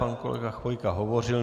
Pan kolega Chvojka hovořil.